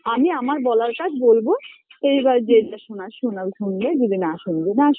আমি আমার বলার কাজ বলবো এইবার যে যেটা শোনার শোনার শুনবে যদি না শুনবে না শুন